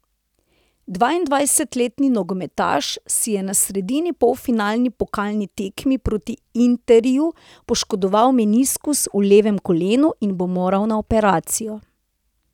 Dvaindvajsetletni nogometaš si je na sredini polfinalni pokalni tekmi proti Interju poškodoval meniskus v levem kolenu in bo moral na operacijo.